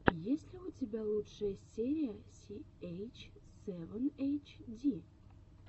есть ли у тебя лучшая серия си эйч севен эйч ди